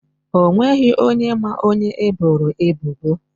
O nweghị onye ma onye eboro ebubo.